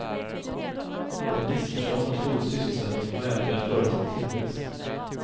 Det är ett missförstånd att full sysselsättning och välfärd förutsätter tillväxt.